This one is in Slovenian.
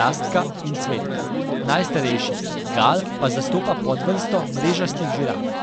Rastka in Cvetka, najstarejši, Gal, pa zastopa podvrsto mrežastih žiraf.